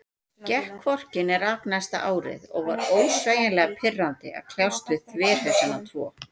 Gekk hvorki né rak næsta árið, og var ósegjanlega pirrandi að kljást við þverhausana tvo.